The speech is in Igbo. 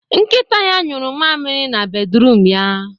Nkita ya nyụrụ mamịrị na bedruum ya